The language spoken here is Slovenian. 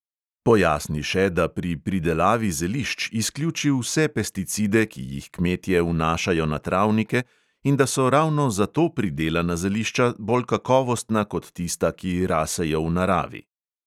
Pojasni še, da pri pridelavi zelišč izključi vse pesticide, ki jih kmetje vnašajo na travnike, in da so ravno zato pridelana zelišča bolj kakovostna kot tista, ki rasejo v naravi.